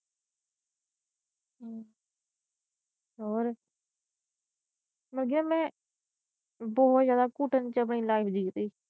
ਅੜੀਏ ਮੈ ਬਹੁਤ ਜਿਆਦਾ ਘੁਟਣ ਚ ਆਪਣੀ ਲਾਈਫ ਜੀ ਰਹੀ।